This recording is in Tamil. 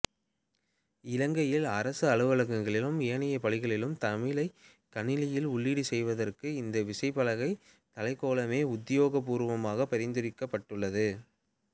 இலங்கையில் அரச அலுவலகங்களிலும் ஏனைய பணிகளிலும் தமிழைக் கணினியில் உள்ளீடு செய்வதற்கு இந்த விசைப்பலகைத் தளக்கோலமே உத்தியோகபூர்வமாகப் பரிந்துரைக்கப்பட்டுள்ளது